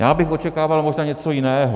Já bych očekával možná něco jiného.